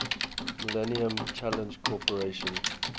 millennium challenge corporation